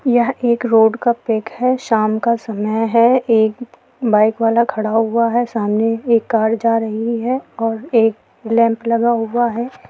यह एक रोड़ का पिक है शाम का समय है एक बाईक वाला खड़ा हुआ है सामने एक कार जा रही है और एक लैंप लगा हुआ है।